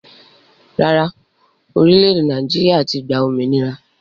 Rárá, orílè Naijiria ti gbà òmìnira